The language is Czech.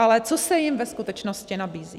Ale co se jim ve skutečnosti nabízí?